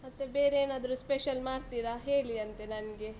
ಮತ್ತೆ ಬೇರೆಯೇನಾದ್ರು special ಮಾಡ್ತೀರಾ, ಹೇಳಿ ಅಂತೆ ನಂಗೆ.